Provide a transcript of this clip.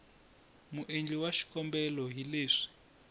muendli wa xikombelo hi leswi